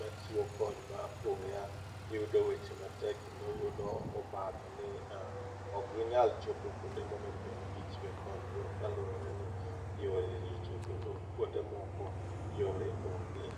machiwo kony ma apoya yudo weche matek kendo yudo obadho ni ok ginyal chopo kuonde monego bed ni gichiwe kony go kaluwore re ni yore richo kendo kuonde momo yore onge